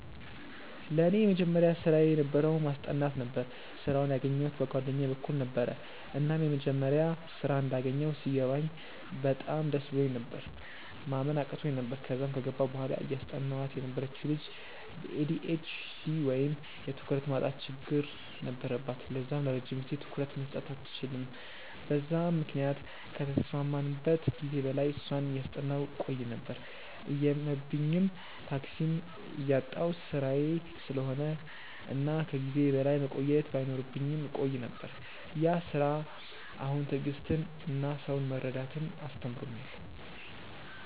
ለኔ የመጀመሪያ ስራየ የነበረው ማስጠናት ነበረ። ስራውን ያገኘዉት በ ጓደኛየ በኩል ነበረ፤ እና መጀመሪያ ስራ እንዳገኘው ሲገባኝ በጣም ደስ ብሎኝ ነበር፤ ማመን አቅቶኝ ነበር፤ ከዛም ከገባው በኋላ እያስጠናዋት የነበረችው ልጅ በ ኤ.ዲ.ኤ.ች.ዲ ወይም የ ትኩረት ማጠር ችግር ነበረባት ለዛም ለረጅም ጊዜ ትኩረት መስጠት አትችልም በዛም ምክንያት ከተስማማንበት ጊዜ በላይ እሷን እያጠናው ቆይ ነበር፤ እየመብኝም፤ ታክሲም እያጣው ስራዬ ስለሆነ እና ከ ጊዜዬ በላይ መቆየት ባይኖርብኝም እቆይ ነበር፤ ያ ስራ አሁን ትዕግስትን እና ሰውን መረዳትን አስተምሮኛል።